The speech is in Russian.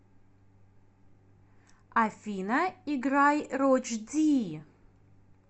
афина играй родж ди